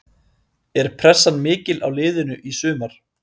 Er pressan mikil á liðinu í sumar?